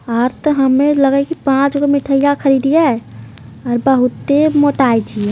आज तो हमें लग हइ की पांच गो मिठाइया खैलिये और बहुते मोटाई थी ।